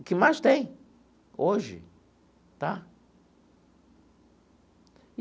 O que mais tem hoje? Tá.